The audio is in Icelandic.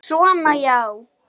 Svona já.